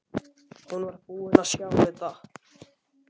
Hún var búin að sjá þetta!